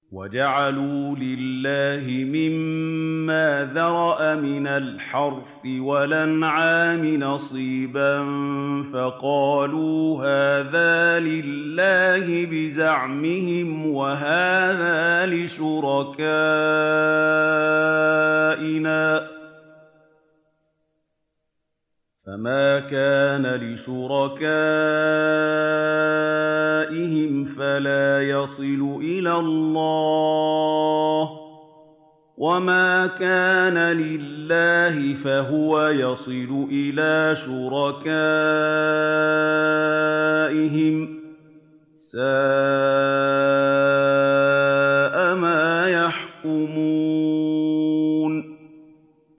وَجَعَلُوا لِلَّهِ مِمَّا ذَرَأَ مِنَ الْحَرْثِ وَالْأَنْعَامِ نَصِيبًا فَقَالُوا هَٰذَا لِلَّهِ بِزَعْمِهِمْ وَهَٰذَا لِشُرَكَائِنَا ۖ فَمَا كَانَ لِشُرَكَائِهِمْ فَلَا يَصِلُ إِلَى اللَّهِ ۖ وَمَا كَانَ لِلَّهِ فَهُوَ يَصِلُ إِلَىٰ شُرَكَائِهِمْ ۗ سَاءَ مَا يَحْكُمُونَ